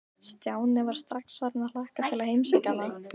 Stjáni var strax farinn að hlakka til að heimsækja hana.